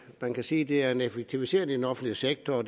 man kan sige det er en effektivisering af den offentlige sektor og